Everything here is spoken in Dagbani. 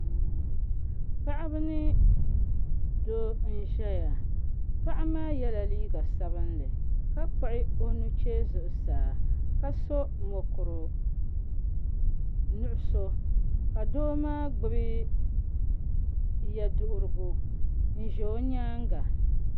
Paɣaba ni Doo n ʒɛya paɣa maa yɛla liiga sabinli ka kpuɣi o nuchee zuɣusaa ka so mokuru nuɣso ka doo maa gbubi yɛ duɣurigu n ʒɛ o nyaanga